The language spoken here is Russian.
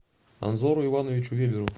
анзору ивановичу веберу